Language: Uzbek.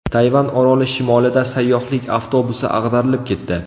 Tayvan oroli shimolida sayyohlik avtobusi ag‘darilib ketdi.